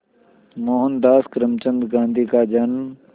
मोहनदास करमचंद गांधी का जन्म